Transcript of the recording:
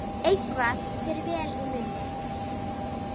Eitthvað fer vel í munni